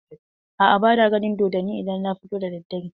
A'a, ba na ganin dodonni idan na fito da daddare.